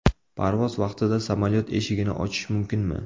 Parvoz vaqtida samolyot eshigini ochish mumkinmi?.